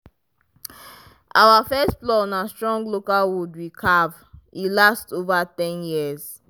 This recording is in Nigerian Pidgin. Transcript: our first plow na strong local wood we carve e last over ten years.